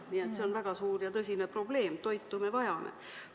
Nii et see on väga suur ja tõsine probleem, toitu me vajame.